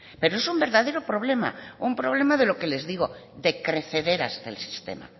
pero es un verdadero problema un problema de lo que les digo de crecederas del sistema